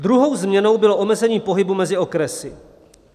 Druhou změnou bylo omezení pohybu mezi okresy.